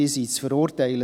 Sie sind zu verurteilen.